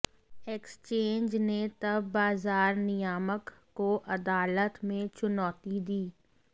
exchange ने तब बाजार नियामक को अदालत में चुनौती दी